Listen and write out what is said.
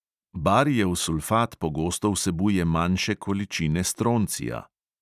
Barijev sulfat pogosto vsebuje manjše količine stroncija.